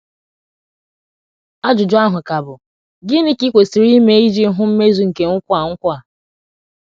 Ajụjụ ahụ ka bụ, Gịnị ka i kwesịrị ime iji hụ mmezu nke nkwa a nkwa a?